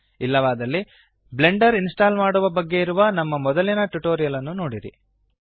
ತಿಳಿದಿಲ್ಲವಾದರೆ Blender install ಮಾಡುವ ಬಗ್ಗೆ ಇರುವ ನಮ್ಮ ಮೊದಲಿನ ಟ್ಯುಟೋರಿಯಲ್ ಅನ್ನು ನೋಡಿರಿ